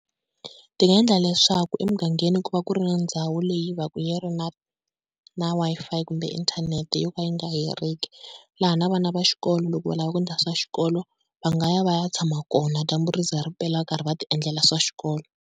Ti nga endla leswaku emugangeni ku va ku ri na ndhawu leyi va ku yi na, na Wi-Fi kumbe inthanete yo ka yi nga heriki. Laha na vana va xikolo loko va lava ku endla swa xikolo va nga ya va ya tshama kona dyambu ri za ri pela va karhi va ti endlela swa xikolo.